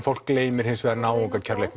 fólk gleymir hins vegar